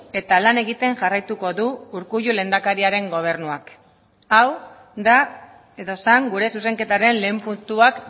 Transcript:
eta lan egiten jarraituko du urkullu lehendakariaren gobernuak hau da edo zen gure zuzenketaren lehen puntuak